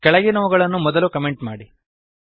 ಕೆಳಗಿನವುಗಳನ್ನು ಮೊದಲು ಕಮೆಂಟ್ ಮಾಡಿ